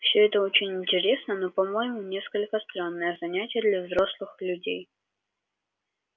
все это очень интересно но по-моему несколько странное занятие для взрослых людей